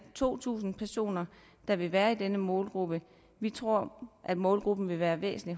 to tusind personer der vil være i denne målgruppe vi tror at målgruppen vil være væsentlig